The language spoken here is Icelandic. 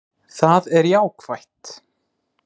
Það er jákvætt